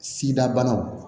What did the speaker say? Sida banaw